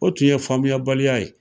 O tun ye faamuya baliya ye.